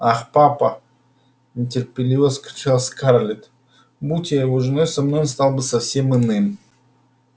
ах папа нетерпеливо вскричала скарлетт будь я его женой со мной он стал бы совсем иным